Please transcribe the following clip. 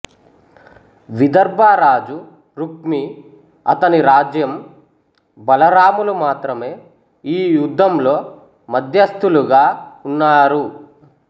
విదర్భ రాజు రుక్మి అతని రాజ్యం బలరాములు మాత్రమే ఈ యుద్ధంలో మధ్యస్థులుగా ఉన్నారు